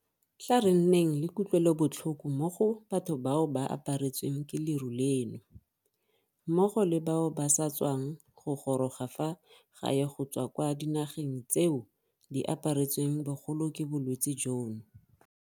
Tla re nneng le kutlwelobotlhoko mo go batho bao ba aparetsweng ke leru leno, mmogo le bao ba sa tswang go goroga fa gae go tswa kwa dinageng tseo di aparetsweng bogolo ke bolwetse jono.